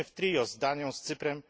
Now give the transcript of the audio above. Jesteśmy w trio z Danią, z Cyprem.